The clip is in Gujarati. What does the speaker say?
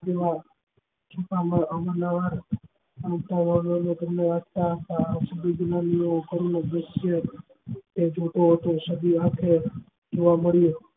અવારનવાર જોવા મળ્યો